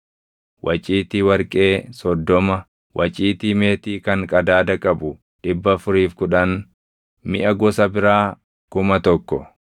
waciitii warqee 30, waciitii meetii kan qadaada qabu 410, miʼa gosa biraa 1,000.